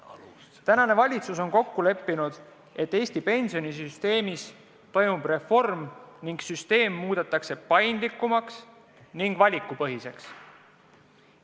Praegune valitsus on kokku leppinud, et Eesti pensionisüsteemis toimub reform ning süsteem muudetakse paindlikumaks ja valikupõhiseks.